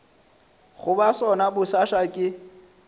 go ba sona bosasa ke